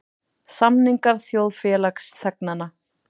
Samningar þjóðfélagsþegnanna.